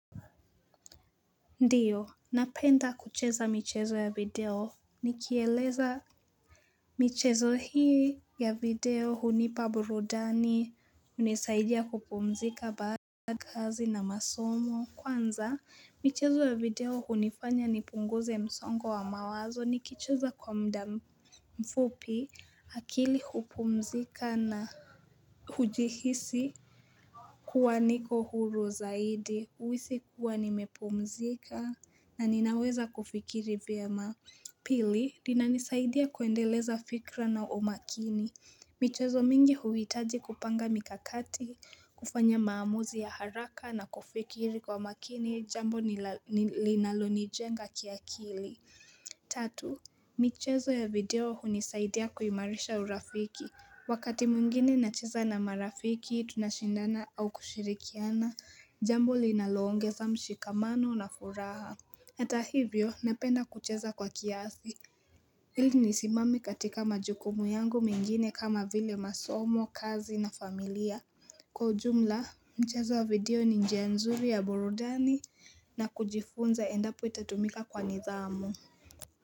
Ndiyo, napenda kucheza michezo ya video, nikyeleza michezo hii ya video hunipaburudani, unisaidia kupumzika baada ya kazi na masomo, kwanza michezo ya video hunifanya ni punguze msongo wa mawazo, nikicheza kwa mdamfupi akili hupumzika na hujihisi kuwa niko huru zaidi, uwisi kuwa nimepumzika, na ninaweza kufikiri vyema Pili, lina nisaidia kuendeleza fikra na umakini michezo mingi huwitaji kupanga mikakati kufanya maamuzi ya haraka na kufikiri kwa makini jambo linaloni jenga kiakili Tatu, michezo ya video hunisaidia kuimarisha urafiki Wakati muingine nacheza na marafiki tunashindana au kushirikiana Jambo linalongeza mshikamano na furaha Atahivyo napenda kucheza kwa kiasi Hili nisimame katika majukumu yangu mengine kama vile masomo kazi na familia Kwa ujumla mchezo wa video ni njianzuri ya burudani na kujifunza endapo itatumika kwa nidhamu.